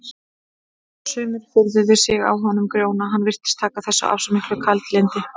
Sumir furðuðu sig á honum Grjóna, hann virtist taka þessu af svo miklu kaldlyndi.